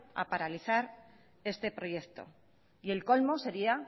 a paralizar este proyecto el colmo sería